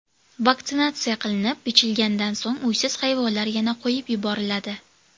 Vaksinatsiya qilinib, bichilgandan so‘ng uysiz hayvonlar yana qo‘yib yuboriladi.